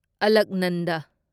ꯑꯂꯛꯅꯟꯗ